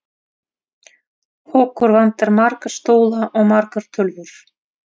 Okkur vantar marga stóla og margar tölvur.